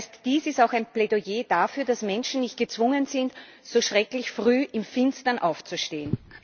Das heißt, dies ist auch ein Plädoyer dafür, dass Menschen nicht gezwungen sind, so schrecklich früh im Finstern aufzustehen.